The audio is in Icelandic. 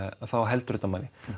þá heldur þetta manni